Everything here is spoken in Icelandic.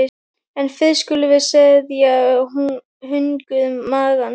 En fyrst skulum við seðja hungur magans.